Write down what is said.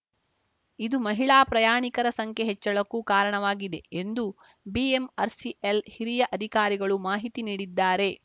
ಇದು ಮಹಿಳಾ ಪ್ರಯಾಣಿಕರ ಸಂಖ್ಯೆ ಹೆಚ್ಚಳಕ್ಕೂ ಕಾರಣವಾಗಿದೆ ಎಂದು ಬಿಎಂಆರ್‌ಸಿಎಲ್‌ ಹಿರಿಯ ಅಧಿಕಾರಿಗಳು ಮಾಹಿತಿ ನೀಡಿದ್ದಾರೆ